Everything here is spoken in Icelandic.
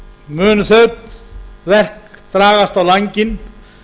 munu þau verk dragast á langinn